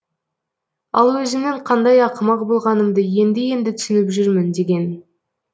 ал өзімнің қандай ақымақ болғанымды енді енді түсініп жүрмін деген